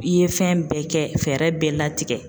I ye fɛn bɛɛ kɛ fɛɛrɛ bɛɛ latigɛ.